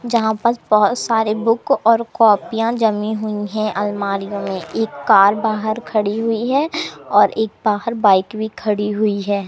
जहां पास बहोत सारे बुक और कॉपियां जमी हुई हैं अलमारियों में एक कार बाहर खड़ी हुई है और एक बाहर बाइक भी खड़ी हुई है।